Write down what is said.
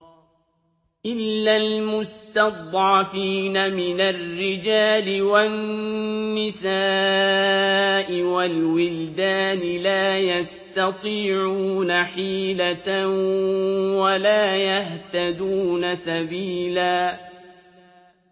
إِلَّا الْمُسْتَضْعَفِينَ مِنَ الرِّجَالِ وَالنِّسَاءِ وَالْوِلْدَانِ لَا يَسْتَطِيعُونَ حِيلَةً وَلَا يَهْتَدُونَ سَبِيلًا